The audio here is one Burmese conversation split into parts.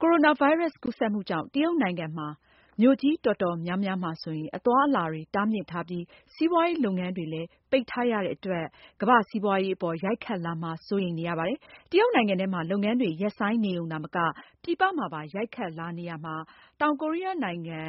ိုရိုနာဗိုင်းရပ်စ် ကူးစက်မှုကြောင့် တရုတ်နိုင်ငံမှာ မြို့ကြီးတော်တော်များများမှာ အသွားအလာတွေ တားမြစ်ထားပြီး စီးပွားရေး လုပ်ငန်းတွေလည်း ပိတ်ထားရတဲ့အတွက် ကမ္ဘာ့စီးပွားရေးအပေါ် ရိုက်ခတ်လာမှာ စိုးရိမ်နေပါတယ်။ တရုတ်နိုင်ငံထဲမှာ လုပ်ငန်းတွေ ရပ်ဆိုင်းနေရုံ သာမက ပြည်ပမှာပါ ရိုက်ခတ်လာနေရာမှာ၊ တောင်ကိုရီးယား နိုင်ငံက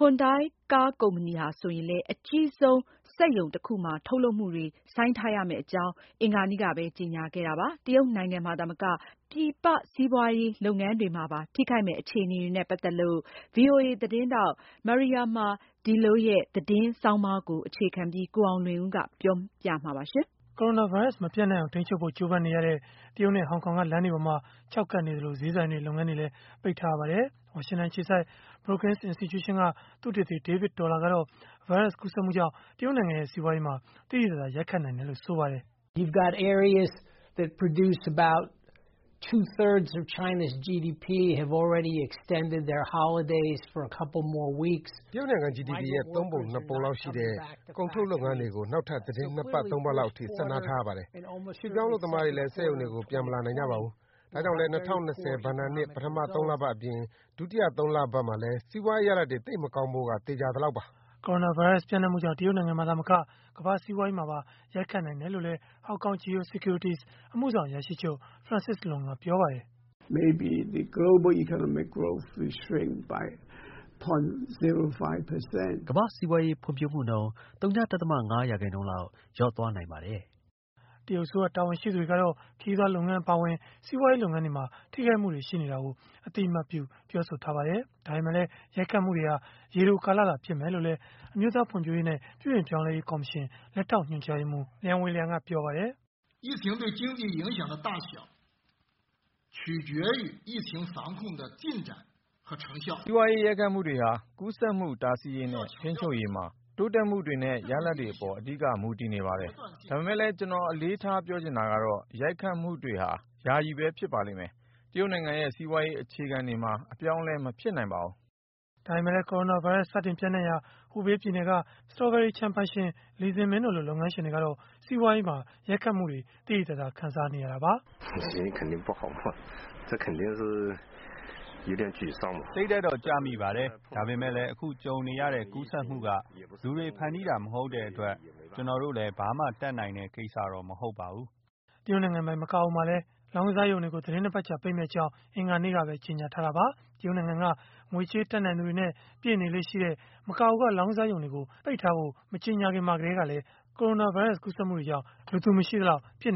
Hyundai ကားကုမ္ပဏီဟာ ဆိုရင်လည်း အကြီးဆုံး စက်ရုံတခုမှာ ထုတ်လုပ်မှုတွေ ဆိုင်းထားမယ့်အကြောင်း အင်္ဂါနေ့ကပဲ ကြေညာခဲ့တာပါ။ တရုတ်နိုင်ငံမှာ သာမက ပြည်ပစီးပွားရေး လုပ်ငန်းတွေမှာပါ ထိခိုက်မယ့် အခြေအနေတွေနဲ့ ပတ်သက်လို့ ဗွီအိုအေ သတင်းထောက် Mariama Diallo ရဲ့ သတင်းဆောင်းပါးကို အခြေခံပြီး ကိုအောင်လွင်ဦးက ပြောပြပေးမှာ ဖြစ်ပါတယ်။ ကိုရိုနာဗိုင်းရပ်စ်မပျံ့နှံ့အောင် ထိန်းချုပ်ဖို့ ကြိုးပမ်းနေရတဲ့ တရုတ်နဲ့ ဟောင်ကောင်က လမ်းတွေပေါ်မှာ ခြောက်ကပ်နေသလို ဈေးဆိုင်တွေ၊ လုပ်ငန်းတွေလည်း ပိတ်ထားရပါတယ်။ ဝါရှင်တန်အခြေစိုက် Brookings Institution က သုတေသီ David Dollar ကတော့ ဗိုင်းရပ်စ် ကူးစက်မှုကြောင့် တရုတ်နိုင်ငံ စီးပွားရေးမှာ သိသိသာသာ ရိုက်ခတ်နိုင်တယ်လို့ ဆိုပါတယ်။ “တရုတ်နိုင်ငံ GDP ရဲ့ ၃ ပုံ ၂ ပုံ လောက်ရှိတဲ့ ကုန်ထုတ်လုပ်ငန်းတွေကို နောက်ထပ် သီတင်း ၂ ပတ်၊ ၃ ပတ်လောက်အထိ ဆက်နားထားရပါတယ်။ ရွှေ့ပြောင်းအလုပ်သမားတွေလည်း စက်ရုံတွေကို ပြန်မလာနိုင်ကြပါဘူး။ ဒါကြောင့်လည်း ၂၀၂၀ ဘဏ္ဍာနှစ် ပထမ ၃ လပတ်အပြင် ဒုတိယ ၃ လပတ်မှာလည်း စီးပွားရေးရလဒ်တွေ သိပ်မကောင်းဖို့က သေချာသလောက်ပါ။” ကိုရိုနာဗိုင်းရပ်စ် ပျံ့နှံ့မှုကြောင့် တရုတ်နိုင်ငံမှာ သာမက ကမ္ဘာ့စီးပွားရေးမှာပါ ရိုတ်ခတ်နိုင်တယ်လို့လည်း Hong Kong Geo Securities အမှုဆောင် အရာရှိချုပ် Francis Lun က ပြောပါတယ်။ “ကမ္ဘာ့စီးပွားရေး ဖွံ့ဖြိုးမှုနှုန်း ၀ ဒသမ ၅ ရာခိုင်နှုန်းလောက် လျော့သွားနိုင်ပါတယ်။” တရုတ်အစိုးရ တာဝန်ရှိသူတွေကတော့ ခရီးသွားလုပ်ငန်း အပါအဝင် စီးပွားရေး လုပ်ငန်းတွေမှာ ထိခိုက်မှုတွေ ရှိနေတာကို အသိအမှတ်ပြု ပြောဆိုထားကြပါတယ်။ ဒါပေမဲ့လည်း ရိုက်ခတ်မှုတွေဟာ ရေတိုကာလသာ ဖြစ်မယ်လို့လည်း အမျိုးသား ဖွံ့ဖြိုးရေးနဲ့ ပြုပြင်ပြောင်းလဲရေး ကော်မရှင် လက်ထောက်ညွှန်ကြားရေးမှူး Lian Weiliang က ပြောပါတယ်။ “စီးပွားရေးမှာ ရိုက်ခတ်မှုတွေဟာ ကူးစက်မှု တားဆီးရေးနဲ့ ထိန်းချုပ်ရေးမှာ တိုးတက်မှုတွေနဲ့ ရလဒ်တွေအပေါ် အဓိကမူတည်နေပါတယ်။ ဒါပေမဲ့လည်း ကျနော် အလေးထားပြောချင်တာကတော့ ရိုက်ခတ်မှုတွေဟာ ယာယီပဲ ဖြစ်ပါလိမ့်မယ်။ တရုတ်နိုင်ငံရဲ့ စီးပွားရေး အခြေခံတွေမှာ အပြောင်းအလဲ မဖြစ်နိုင်ပါဘူး။” ဒါပေမဲ့လည်း ကိုရိုနာဗိုင်းရပ်စ် စတင်ပံျ့နှံ့ရာ Hubei ပြည်နယ်က စတော်ဘယ်ရီခြံပိုင်ရှင် Li Zimin တို့လို လုပ်ငန်းရှင်တွေကတော့ စီးပွားရေးမှာ ရိုက်ခတ်မှုတွေကို သိသိသာသာ ခံစားနေရတာပါ။ “စိတ်ဓာတ်တော့ ကျမိပါတယ်။ ဒါပေမဲ့လည်း အခုကြုံနေရတဲ့ ကူးစက်မှုက လူတွေဖန်တီးတာ မဟုတ်တဲ့အတွက် ကျနော်တို့လည်း ဘာမှတတ်နိုင်တဲ့ ကိစ္စမဟုတ်ပါဘူး။” တရုတ်နိုင်ငံပိုင် မကာအိုမှာလည်း လောင်းကစားရုံတွေကို သီတင်း ၂ ပတ်ကြာ ပိတ်မယ့်အကြောင်း အင်္ဂါနေ့ကပဲ ကြေညာခဲ့တာပါ။ တရုတ်နိုင်ငံက ငွေကြေးတတ်နိုင်သူတွေနဲ့ ပြည့်နေလေ့ရှိတဲ့ မကာအိုက လောင်းကစားရုံတွေကို ပိတ်ထားဖို့ မကြေညာခင်မှာ ကတည်းကလည်း ကိုရိုနာဗိုင်းရပ်စ် ကူးစက်မှုတွေကြောင့် လူသူမရှိသလောက် ဖြစ်